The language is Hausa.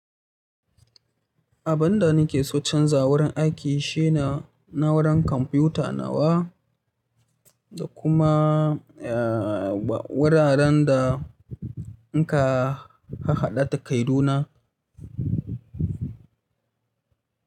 Abin da nake so canza wurin aiki shine na'urar kwamfuta nawa da kuma wuraren da in ka haɗa ta kaido na.